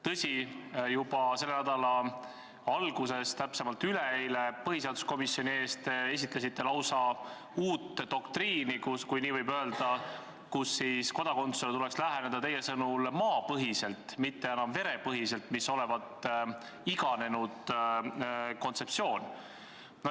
Tõsi, juba selle nädala alguses, täpsemalt üleeile, esitlesite te põhiseaduskomisjoni ees lausa uut doktriini, kui nii võib öelda, mille järgi tuleks kodakondsusele läheneda teie sõnul maapõhiselt, mitte enam verepõhiselt, mis olevat iganenud kontseptsioon.